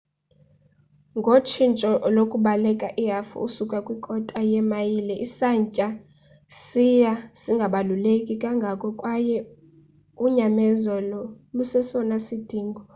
ngotshintsho lokubaleka ihafu usuka kwi kota yemayile isantya siya singabaluleki kangako kwaye unyamezelo lusesona sidingo